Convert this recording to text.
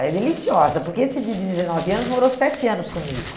é deliciosa, porque esse de dezenove anos morou sete anos comigo.